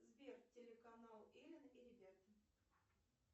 сбер телеканал элен и ребята